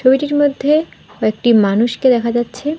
ছবিটির মধ্যে কয়েকটি মানুষকে দেখা যাচ্ছে।